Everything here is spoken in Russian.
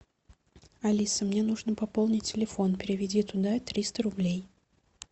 алиса мне нужно пополнить телефон переведи туда триста рублей